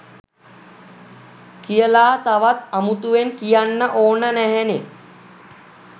කියලා තවත් අමුතුවෙන් කියන්න ඕන නැහැනේ